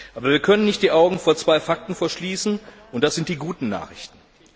Aber wir können nicht die Augen vor zwei Fakten verschließen, und das sind die guten Nachrichten.